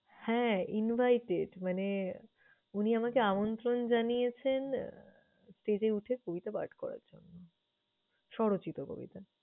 হ্যাঁ invited মানে উনি আমাকে আমন্ত্রণ জানিয়েছেন stage এ উঠে কবিতা পাঠ করার জন্য, স্বরচিত কবিতা।